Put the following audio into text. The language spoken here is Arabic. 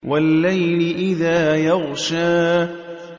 وَاللَّيْلِ إِذَا يَغْشَىٰ